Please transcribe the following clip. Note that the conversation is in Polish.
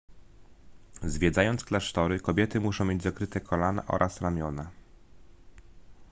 zwiedzając klasztory kobiety muszą mieć zakryte kolana oraz ramiona